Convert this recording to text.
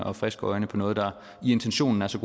og friske øjne på noget der i intentionen er så